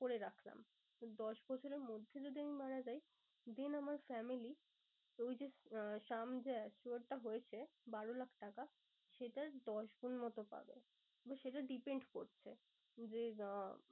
করে রাখলাম। দশ বছরের মধ্যে যদি আমি মারা যাই then আমার family তো ওই যে sum assured টা হয়েছে বারো লাখ টাকা সেটার দশ গুন মতো পাবে। এবার সেটা depend করছে যে আহ